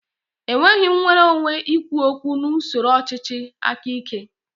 È nweghị nnwere onwe ikwu okwu na usoro ọchịchị aka ike.